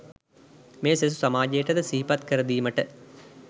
මෙය සෙසු සමාජයට ද සිහිපත් කරදීමට